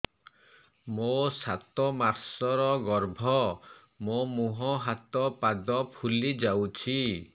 ମୋ ସାତ ମାସର ଗର୍ଭ ମୋ ମୁହଁ ହାତ ପାଦ ଫୁଲି ଯାଉଛି